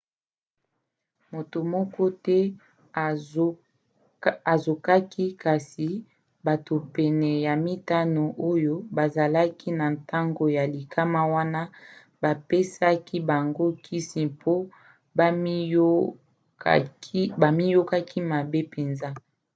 moto moko te azokaki kasi bato pene ya mitano oyo bazalaki na ntango ya likama wana bapesaki bango kisi mpo bamiyokaki mabe mpenza